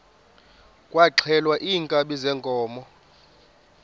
kwaxhelwa iinkabi zeenkomo